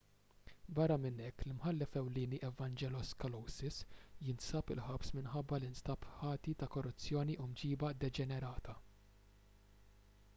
barra minn hekk l-imħallef ewlieni evangelos kalousis jinsab il-ħabs minħabba li nstab ħati ta' korruzzjoni u mġieba deġenerata